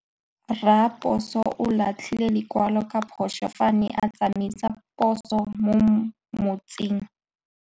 Raposo o latlhie lekwalô ka phosô fa a ne a tsamaisa poso mo motseng.